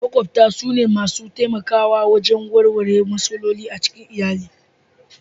Maƙwabta sune masu taimakawa wajen warware matsaloli a cikin iyali.